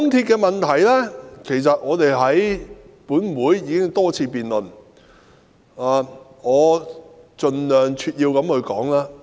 港鐵公司的問題本會已多次辯論，我會盡量扼要地闡述。